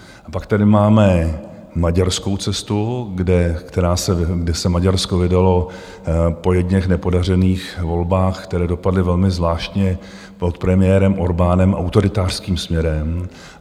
A pak tady máme maďarskou cestu, kterou se Maďarsko vydalo po jedněch nepodařených volbách, které dopadly velmi zvláštně, pod premiérem Orbánem autoritářským směrem.